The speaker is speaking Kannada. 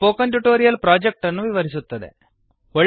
ಇದು ಸ್ಪೋಕನ್ ಟ್ಯುಟೋರಿಯಲ್ ಪ್ರೊಜೆಕ್ಟ್ ಅನ್ನು ವಿವರಿಸುತ್ತದೆ